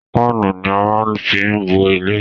Páánù ni á máa fí ń bo ilé.